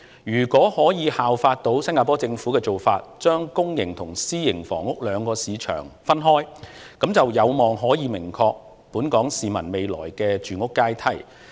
如果可以效法新加坡政府的做法，把公營及私營房屋兩個市場分開，就有望令本港市民未來的住屋階梯更明確。